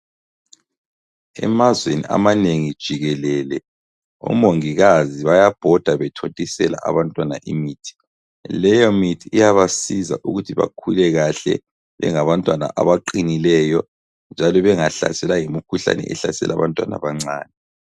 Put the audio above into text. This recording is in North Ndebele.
Emazweni amanengi jikelele omongikazi bayabhoda bethontisela abantwana imithi. Leyomithi iyabasiza ukuthi bakhule kahle bengabantwana abaqinileyo njalo bengahlaselwa yimikhuhlane ehlasela abantwana abancane.